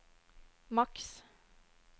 maks